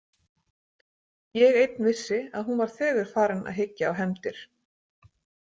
Ég einn vissi að hún var þegar farin að hyggja á hefndir.